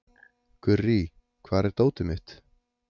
Gurrí, hvar er dótið mitt?